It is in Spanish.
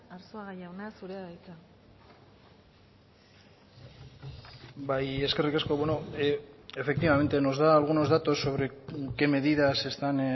arzuaga jauna zurea da hitza bai eskerrik asko efectivamente nos da algunos datos sobre qué medidas se están